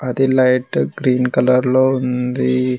అది light green colour లో ఉంది.